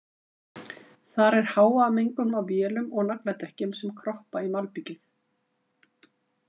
Þar er hávaðamengun af vélum og nagladekkjum sem kroppa í malbikið.